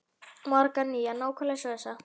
Margar nýjar, nákvæmlega eins og þessa.